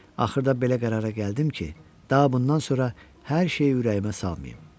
Axırda belə qərara gəldim ki, daha bundan sonra hər şeyi ürəyimə salmayım.